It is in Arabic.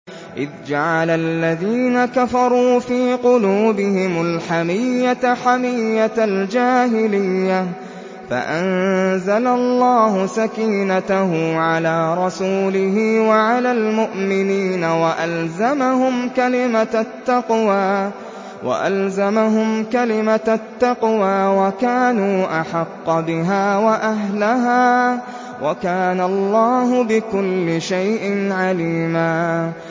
إِذْ جَعَلَ الَّذِينَ كَفَرُوا فِي قُلُوبِهِمُ الْحَمِيَّةَ حَمِيَّةَ الْجَاهِلِيَّةِ فَأَنزَلَ اللَّهُ سَكِينَتَهُ عَلَىٰ رَسُولِهِ وَعَلَى الْمُؤْمِنِينَ وَأَلْزَمَهُمْ كَلِمَةَ التَّقْوَىٰ وَكَانُوا أَحَقَّ بِهَا وَأَهْلَهَا ۚ وَكَانَ اللَّهُ بِكُلِّ شَيْءٍ عَلِيمًا